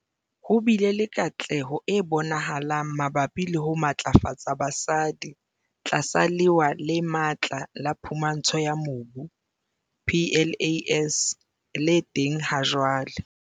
Ho bile le katleho e bonahalang mabapi le ho matlafatsa basadi tlasa Lewa le Matla la Phumantsho ya Mobu, PLAS, le teng hajwale.